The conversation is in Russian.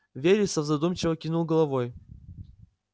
вересов задумчиво кивнул головой